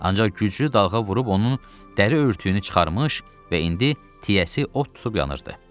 Ancaq güclü dalğa vurub onun dəri örtüyünü çıxarmış və indi tiyəsi od tutub yanırdı.